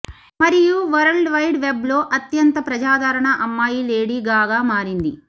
మరియు World Wide Web లో అత్యంత ప్రజాదరణ అమ్మాయి లేడీ గాగా మారింది